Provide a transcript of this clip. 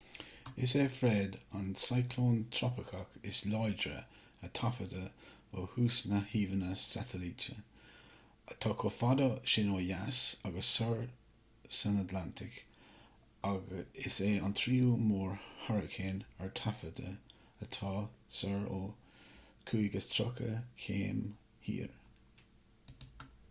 is é fred an cioclón trópaiceach is láidre a taifeadadh ó thús na n-íomhánna satailíte atá chomh fada sin ó dheas agus soir san atlantach agus is é an tríú mór-hairicín ar taifead atá soir ó 35°w